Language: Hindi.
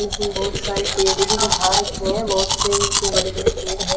इसमें बहुत सारे पेड़ भी दिखा रखे है बहुत से इसमें बड़े बड़े पेड़ है।